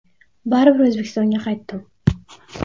Baribir O‘zbekistonga qaytdim.